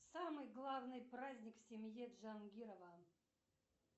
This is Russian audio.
самый главный праздник в семье джангирова